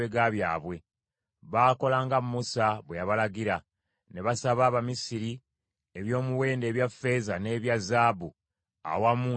Baakola nga Musa bwe yabalagira, ne basaba Abamisiri eby’omuwendo ebya ffeeza n’ebya zaabu, awamu n’ebyambalo.